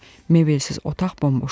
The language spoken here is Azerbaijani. Mebelsiz otaq bomboş idi.